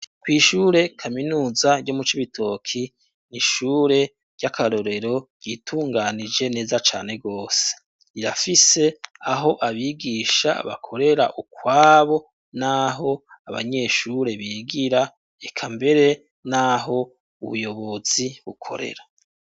Kw'ishure kaminuza ryo mu Cibitoke, ni ishure ry'akarorero ryitunganije neza cane gose rirafise aho abigisha bakorera ukwabo n'aho abanyeshure bigira eka mbere n'aho ubuyobozi bukorera.